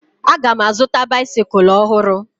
Aga m azụta baisikụl ọhụrụ